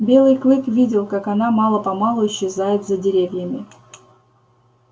белый клык видел как она мало помалу исчезает за деревьями